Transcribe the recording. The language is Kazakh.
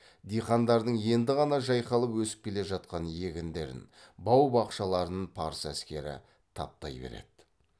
диқандардың енді ғана жайқалып өсіп келе жатқан егіндерін бау бақшаларын парсы әскері таптай береді